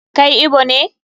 Kai Igbo ne?